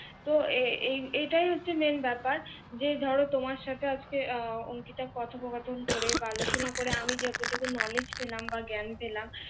তো এই এই এটাই হচ্ছে main ব্যাপার যে ধরো তোমার সাথে আজকে আহ অংকিতা কথোকপথন করে বা আলোচনা করে আমি যত টুকু knowledge পেলাম বা জ্ঞান পেলাম